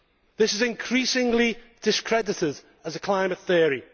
This is increasingly discredited as a climate theory.